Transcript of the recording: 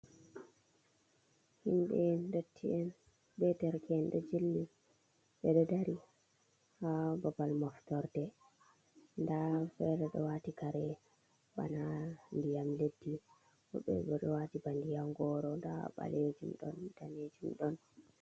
Himɓe ndodtien be derke en ɗi jilli ɓe ɗo dari ha babal maftorɗe da fere do wati kare bana ndiyam leddi woɓɓe bo ɗo wati bana ndiyam goro da balejum ɗon danejum ɗon.